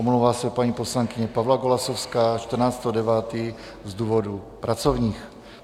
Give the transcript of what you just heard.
Omlouvá se paní poslankyně Pavla Golasowská 14. 9. z důvodů pracovních.